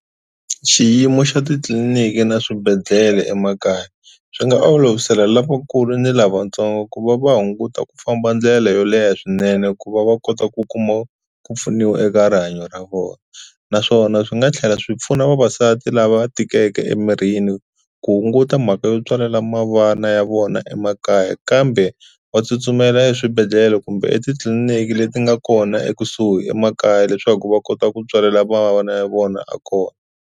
Xiyimo xa titliliniki na swibedhlele emakaya swi nga olovisela lavakulu ni lavatsongo ku va va hunguta ku famba ndlela yo leha swinene ku va va kota ku kuma ku pfuniwa eka rihanyo ra vona naswona swi nga tlhela swi pfuna vavasati lava tikeke emirini ku hunguta mhaka yo tswalela mavana ya vona emakaya kambe va tsutsumela eswibedhlele kumbe etitliliniki leti nga kona ekusuhi emakaya leswaku va kota ku tswalela va vana ya vona a kona.